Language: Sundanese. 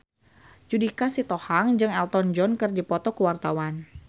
Judika Sitohang jeung Elton John keur dipoto ku wartawan